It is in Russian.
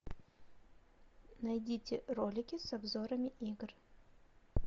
найдите ролики с обзорами игр